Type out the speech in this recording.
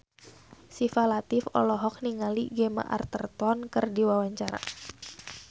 Syifa Latief olohok ningali Gemma Arterton keur diwawancara